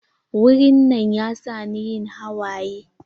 Wurin nan ya sa ni yin hawaye.